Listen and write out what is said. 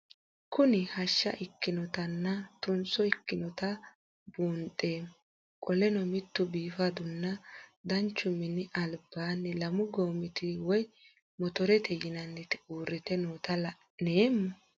Kuni hasha ikinotana tunso ikanota bunxemo qoleno mitu bifaduna danchu mini aliban lamu gomiti woye motorete yinanti urite nootae la'nemo?